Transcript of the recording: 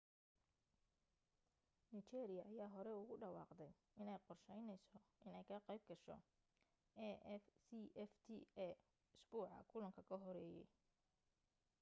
nigeria ayaa horey ugu dhawaaqday inay qorsheyneyso inay ka qayb gasho afcfta isbuuca kulanka ka horeeyey